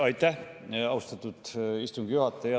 Aitäh, austatud istungi juhataja!